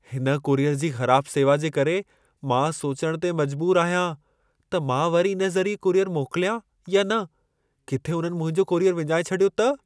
हिन कुरियर जी ख़राब सेवा जे करे मां सोचणु ते मजबूरु आहियां, त मां वरी इन ज़रिए कुरियर मोकिल्यां या न। किथे उन्हनि मुंहिंजो कुरियर विञाए छॾियो त?